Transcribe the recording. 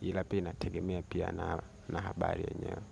Hila pia inategemea pia na habari yenyeo.